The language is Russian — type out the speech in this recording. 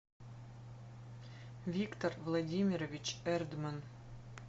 виктор владимирович эрдман